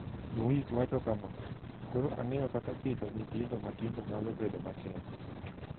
Luis wacho kama: "Koro ang'eyo kaka pidho nyithindo matindo nyalo bedo matek.